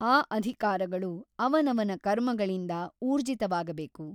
ಆ ಅಧಿಕಾರಗಳು ಅವನವನ ಕರ್ಮಗಳಿಂದ ಊರ್ಜಿತವಾಗಬೇಕು.